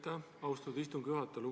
Aitäh, austatud istungi juhataja!